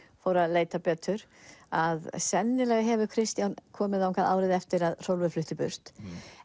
fór að leita betur að sennilega hefur Kristján komið þangað árið eftir að Hrólfur flutti burt